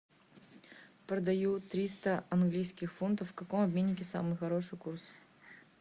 продаю триста английских фунтов в каком обменнике самый хороший курс